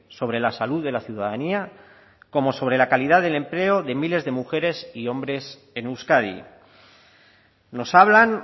sobre la salud de la ciudadanía como sobre la calidad del empleo de miles de mujeres y hombres en euskadi nos hablan